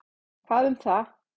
Hvað um það.